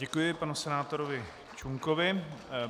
Děkuji panu senátorovi Čunkovi.